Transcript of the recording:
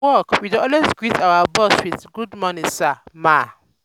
for work we dey always greet our boss with "good morning sir/ma."